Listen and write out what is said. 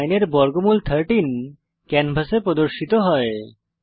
169 এর বর্গমূল 13 ক্যানভাসে প্রদর্শিত হয়